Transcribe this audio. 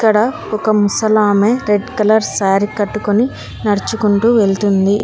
ఇక్కడ ఒక ముసలామె రెడ్ కలర్ శారీ కట్టుకొని నడుచుకుంటూ వెళ్తుంది.